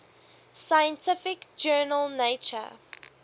scientific journal nature